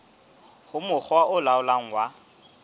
ho mokga o laolang wa